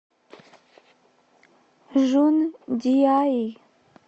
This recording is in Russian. жундиаи